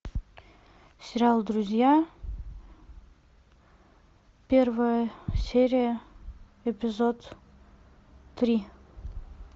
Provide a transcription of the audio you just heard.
сериал друзья первая серия эпизод три